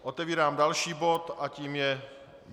Otevírám další bod a tím je